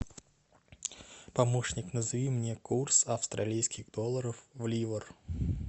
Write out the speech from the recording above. помощник назови мне курс австралийских долларов в ливр